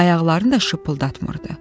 Ayaqlarını da şıpıldatmırdı.